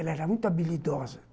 Ela era muito habilidosa.